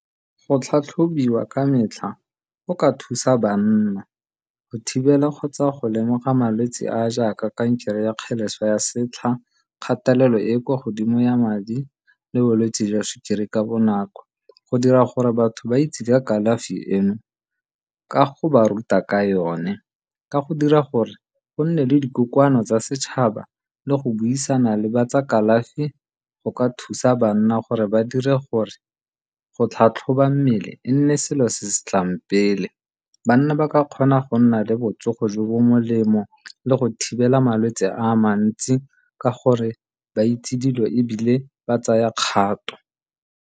Go tlhatlhobiwa ka metlha go ka thusa banna go thibela kgotsa go lemoga malwetsi a a jaaka kankere ya kgeleso ya setlha, kgatelelo e e kwa godimo ya madi le bolwetsi jwa sukiri ka bonako go dira gore batho ba itse ya kalafi eno ka go ba ruta ka yone ka go dira gore go nne le dikokoano tsa setšhaba le go buisana le ba tsa kalafi go ka thusa bana gore ba dire gore go tlhatlhoba mmele e nne selo se se tlang pele. Banna ba ka kgona go nna le botsogo jo bo molemo le go thibela malwetsi a mantsi ka gore ba itse dilo ebile ba tsaya kgato.